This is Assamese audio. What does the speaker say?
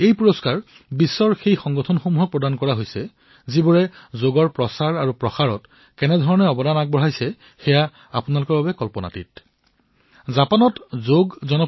এই পুৰস্কাৰ বিশ্বৰ সেই সংগঠনসমূহক দিয়া হৈছে যাৰ বিষয়ে আপোনালোকে কল্পনাও কৰিব নোৱাৰে যে তেওঁলোকে কিদৰে যোগৰ প্ৰচাৰত গুৰুত্বপূৰ্ণ যোগদান কৰিছে